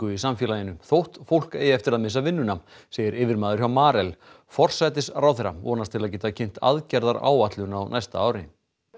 í samfélaginu þótt fólk eigi eftir að missa vinnuna segir yfirmaður hjá Marel forsætisráðherra vonast til að geta kynnt aðgerðaáætlun á næsta ári